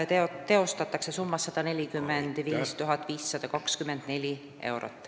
Hooldustöid teostatakse summas 145 524 eurot.